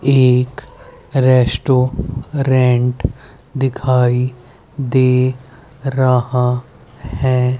एक रेस्टोरेंट दिखाई दे रहा है।